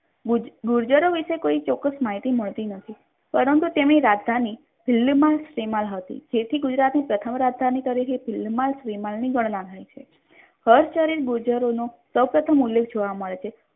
ગુર્જારો વિશે કોઈ ચોક્કસ માહિતી મળતી નથી પરંતુ તેમની રાજધાની દિલ્હીમાં સેમાળ હતી જેથી ગુજરાતની પ્રથમ રાજધાની તરીકે ગણવામાં આવે છે હર્ષચરિન્ગ ગુર્જારોનો સૌપ્રથમ ઉલ્લેખ જોવા મળે છે.